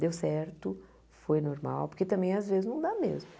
Deu certo, foi normal, porque também às vezes não dá mesmo.